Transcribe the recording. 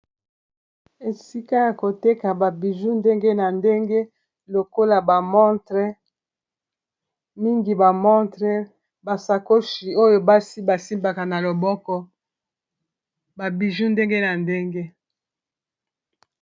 Esika ya koteka ba biju ndenge na ndenge lokola ba montre mingi ba montre, basakoshi oyo basi basimbaka na loboko ba biju ndenge na ndenge.